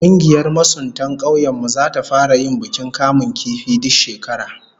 Kungiyar masuntan kaunyen mu zata fara yin bukin kamun kifi duk shekara